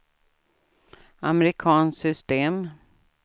amerikanskt system